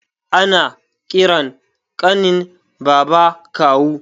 Ana ƙiran ƙanin baba kawu